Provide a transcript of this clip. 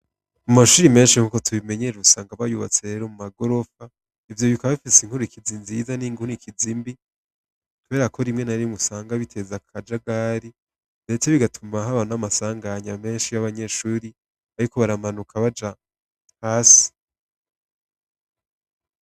Mu mashuri menshi nk'uko tubimenyere urusanga bayubatse rero mu magorofa ivyo bika bifise inkuru ikizi nziza n'inguna ikizimbi tuberako rimwe narimwe usanga biteza akaja gari mbetse bigatuma haba n'amasanganya menshi y'abanyeshuri, ariko baramanuka baja hasi.